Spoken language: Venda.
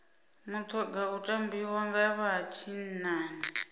mutoga u tambiwa nga vha tshinnani